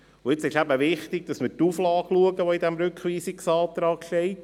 Nun ist aber wichtig, dass man sich die Auflage anschaut, die der Rückweisungsantrag enthält.